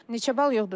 Neçə bal yığdınız?